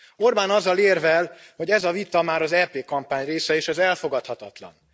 Orbán azzal érvel, hogy ez a vita már az EP kampány része és ez elfogadhatatlan.